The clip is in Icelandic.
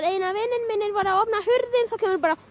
einn vinur minn var að opna hurð þá kom bara